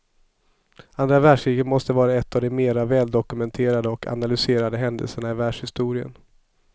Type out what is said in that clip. Andra världskriget måste vara en av de mera väldokumenterade och analyserade händelserna i världshistorien.